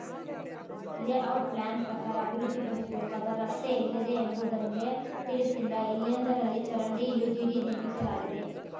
layout plan ಪ್ರಕಾರ ಅಭಿವೃದ್ಧಿಪಡಿಸಬೇಕಾದ ರಸ್ತೆ ಎಲ್ಲಿದೆಯೆಂಬುದಲ್ಲೇ ತಿಳಿಸಿಲ್ಲ ಎಲ್ಲೆಂಡರಲ್ಲಿ ಚರಂಡಿ ಯುಜಿಡಿ ನಿರ್ಮಿಸಲಾಗಿದೆ